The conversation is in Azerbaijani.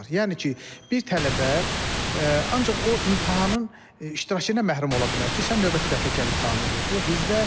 Yəni ki, bir tələbə ancaq o imtahanın iştirakından məhrum ola bilər ki, sən növbəti dəfə gəl imtahanı ver.